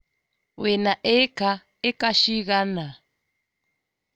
Wĩ na ĩĩka ĩka cigana?